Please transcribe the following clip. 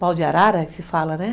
Pau de arara, que se fala, né?